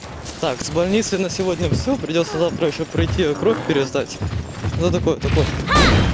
так с больницей на сегодня всё придётся завтра пройти ещё пройти кровь пересдать ну это то пофиг